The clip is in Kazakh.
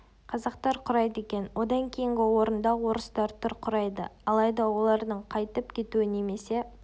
қазақтар құрайды екен одан кейінгі орында орыстар тұр құрайды алайда олардың қайтіп кетуі немесе